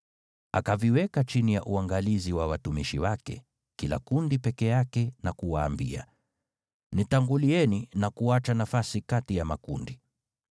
Akaviweka chini ya uangalizi wa watumishi wake, kila kundi peke yake na kuwaambia, “Nitangulieni na kuacha nafasi kati ya makundi.”